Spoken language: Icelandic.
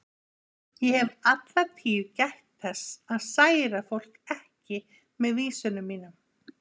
Ég hef alla tíð gætt þess að særa fólk ekki með vísunum mínum.